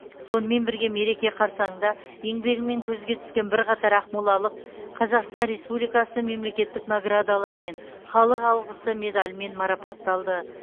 сонымен бірге мереке қарсаңында еңбегімен көзге түскен бірқатар ақмолалық қазақстан республикасы мемлекеттік наградаларымен халық алғысы медалімен марапатталды